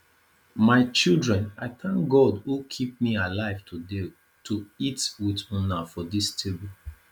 my children i thank god who keep me alive today to eat with una for dis table